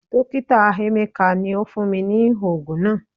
Dokita emeka ni o fun mi ni oogun naa